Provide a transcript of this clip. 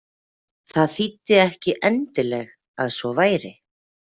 Það þýddi ekki endileg að svo væri.